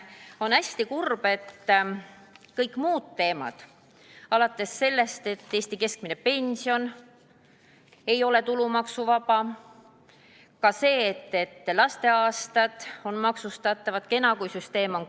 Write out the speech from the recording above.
On aga hästi kurb, et kõiki muid teemasid, alates sellest, et Eesti keskmine pension ei ole tulumaksuvaba, või ka see, et lasteaastad on maksustatavad, ei ole isegi mitte arutatud.